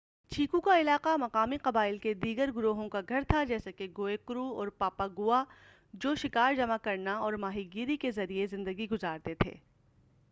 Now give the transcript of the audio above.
چیکو کا علاقہ مقامی قبائل کے دیگر گروہوں کا گھر تھا جیسے کہ گوئےکرو اور پایاگُوا جو شکار جمع کرنا اورماہی گیری کے ذریعے زندگی گُزارتے تھے